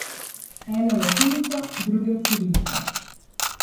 Ene v latinico, druge v cirilico.